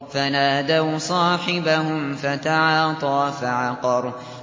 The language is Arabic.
فَنَادَوْا صَاحِبَهُمْ فَتَعَاطَىٰ فَعَقَرَ